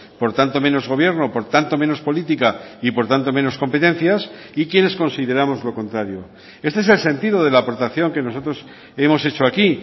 por tanto menos gobierno por tanto menos política y por tanto menos competencias y quienes consideramos lo contrario este es el sentido de la aportación que nosotros hemos hecho aquí